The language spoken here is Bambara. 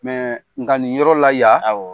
Nka nin yɔrɔ la yan; Awɔ